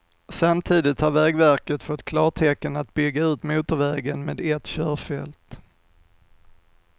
Samtidigt har vägverket fått klartecken att bygga ut motorvägen med ett körfält.